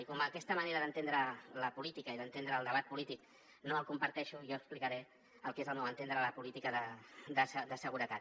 i com que aquesta manera d’entendre la política i d’entendre el debat polític no la comparteixo jo explicaré el que és al meu entendre la política de seguretat